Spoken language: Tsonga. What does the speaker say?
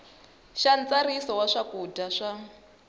xa ntsariso ya swakudya swa